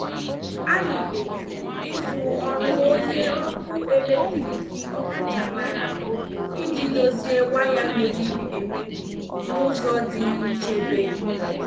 Anyị kpebiri izu ọrụ onye ọkụ eletrik ọkachamara iji dozie waya mebiri emebi n' ụzọ dị nchebe.